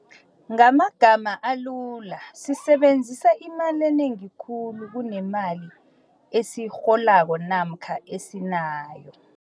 Ngamagama alula, sisebenzisa imali enengi khulu kunemali esiyirholako namkha esinayo.